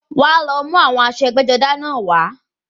Wá lọ mú àwọn aṣọ ẹgbẹ́-jọdá náà wá.